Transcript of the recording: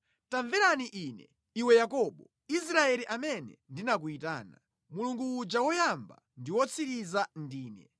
“Tamvera Ine, iwe Yakobo, Israeli, amene ndinakuyitana: Mulungu uja Woyamba ndi Wotsiriza ndine.